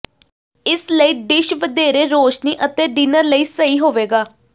ਇਸ ਲਈ ਡਿਸ਼ ਵਧੇਰੇ ਰੌਸ਼ਨੀ ਅਤੇ ਡਿਨਰ ਲਈ ਸਹੀ ਹੋਵੇਗਾ